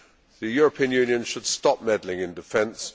The European Union should stop meddling in defence.